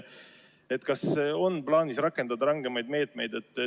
Kas on plaanis rakendada rangemaid meetmeid?